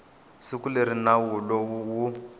siku leri nawu lowu wu